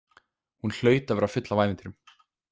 Hún hlaut að vera full af ævintýrum.